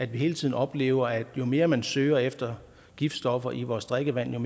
hele tiden oplever at jo mere man søger efter giftstoffer i vores drikkevand jo